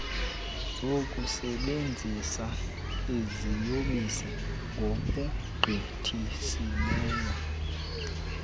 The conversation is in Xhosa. zokusebenzisa iziyobisi ngokugqithisileyo